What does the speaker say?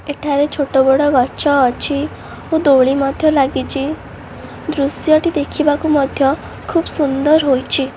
ଏଠାରେ ଛୋଟ ବଡ ଗଛ ଲାଗିଛି। ଦୃଶ୍ୟ ଟି ଦେଖିବାକୁ ମଧ୍ୟ ବହୁତ୍ ସୁନ୍ଦର୍ ହେଇଛି।